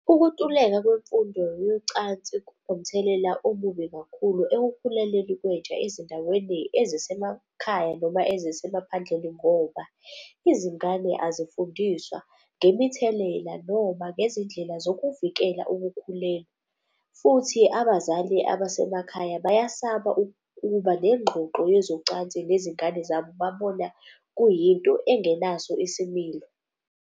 Ukuntuleka kwemfundo yocansi kunomthelela omubi kakhulu ekukhulelweni kwentsha ezindaweni ezisemakhaya noma ezisemaphandleni ngoba izingane azifundiswa ngemithelela, noma ngezindlela zokuvikela ukukhulelwa. Futhi abazali abasemakhaya bayasaba ukuba nengxoxo yezocansi nezingane zabo babona kuyinto engenaso isimilo